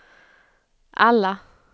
alla